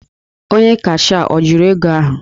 Onye cashịa ọ jụrụ ego ahụ?